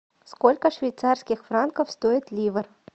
сколько швейцарских франков стоит ливр